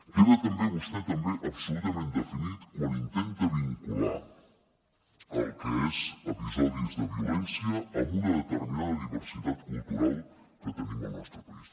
queda també vostè també absolutament definit quan intenta vincular el que són episodis de violència amb una determinada diversitat cultural que tenim al nostre país